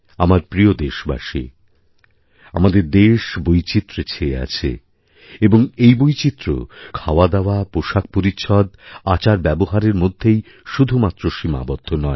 আমার প্রিয়দেশবাসী আমাদের দেশ বৈচিত্র্যে ছেয়ে আছে এবং এই বৈচিত্র্য শুধু খাওয়াদাওয়াপোষাকপরিচ্ছদ আচারব্যবহারের মধ্যেই শুধুমাত্র সীমাবদ্ধ নয়